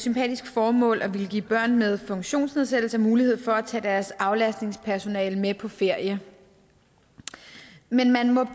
sympatisk formål at ville give børn med funktionsnedsættelse mulighed for at tage deres aflastningspersonale med på ferie men man må